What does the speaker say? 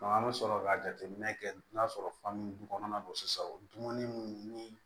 an bɛ sɔrɔ ka jateminɛ kɛ n'a sɔrɔ fan min du kɔnɔna na sisan dumuni ni